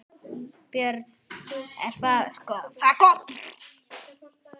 Björn: Er það gott?